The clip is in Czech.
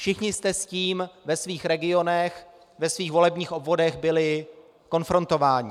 Všichni jste s tím ve svých regionech, ve svých volebních obvodech byli konfrontováni.